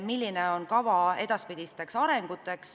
Milline on kava edaspidisteks sammudeks?